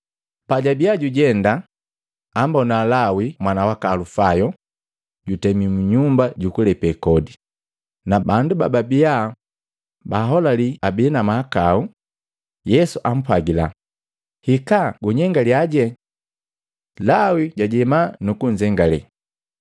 Pajabia jujenda ambona Lawi mwana waka Alufayo, jutemi mu nyumba jukulepe kodi na bandu bababia baholali abii na mahakau. Yesu ampwagila, “Hikaa gunyengalyaje!” Lawi jajema nukunzengale.